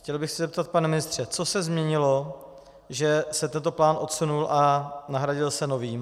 Chtěl bych se zeptat, pane ministře, co se změnilo, že se tento plán odsunul a nahradil se novým?